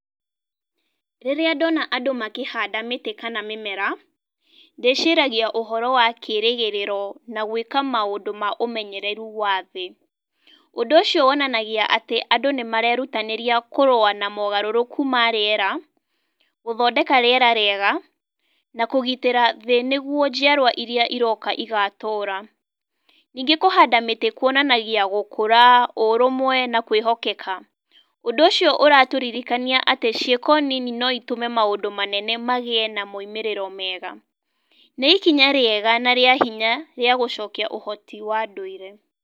Rĩrĩa ndona andũ makĩhanda mĩtĩ kana mĩmera, ndĩciragia ũhoro wa kĩrĩgĩrĩro na gwĩka maũndũ ma ũmenyereru wa thĩ. Ũndũ ũcio wonanagia atĩ andũ nĩ marerutanĩria kũrũa na mogarũrũku ma rĩera, gũthondeka rĩera rĩega, na kũgitĩra thĩ nĩguo njiarũa irĩa iroka igatũra. Ningĩ kũhanda mĩtĩ kũonanagia gũkũra, ũrũmwe na kwĩhokeka. Ũndũ ũcio ũratũririkania atĩ ciĩko nini no itũme maũndũ manene magĩe na maimĩrĩro mega. Nĩ ikinya rĩega na rĩa hinya rĩa gũcokia ũhoti wa nduire.